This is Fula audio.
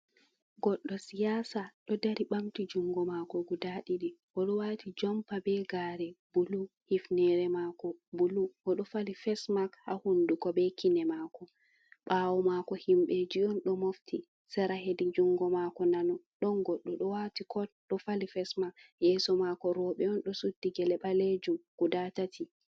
Goɗɗo siyaasa ɗo dari ɓanti juuɗe maako gudaa ɗiɗi, oɗo waati jompa bee gaare bulu, hufneere maako bulu. Oɗo fali fesmask ha hunduko bee kine maako, ɓaawo maako yimɓeeji on ɗo mofti. Sera hedi juuɗe maako nano ɗon goɗɗo ɗo waati kot, fali fesmask. Yeeso maako rewɓe on ɗo suddi gele gudaa tati.